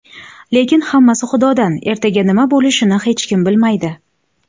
Lekin hammasi Xudodan ertaga nima bo‘lishini hech kim bilmaydi.